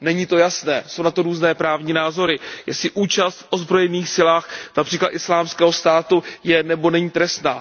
Není to jasné, jsou na to různé právní názory, jestli účast v ozbrojených silách, například Islámského státu, je, nebo není trestná.